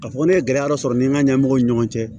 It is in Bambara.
K'a fɔ ko ne ye gɛlɛya dɔ sɔrɔ n ni n ka ɲɛmɔgɔw ni ɲɔgɔn cɛ